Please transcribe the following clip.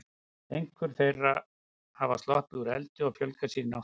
Einhverjar þeirra hafa sloppið úr eldi og fjölgað sér í náttúrunni.